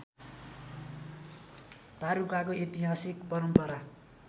तारुकाको ऐतिहासिक परम्परा